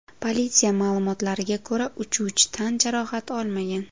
Politsiya ma’lumotlariga ko‘ra, uchuvchi tan jarohati olmagan.